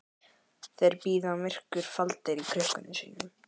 Þeir bíða myrkurs faldir í krukkum sínum.